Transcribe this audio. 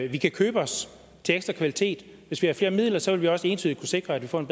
at vi kan købe os til ekstra kvalitet sådan at hvis vi har flere midler så vil vi også entydigt kunne sikre at vi får en